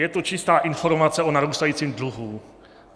Je to čistá informace o narůstajícím dluhu.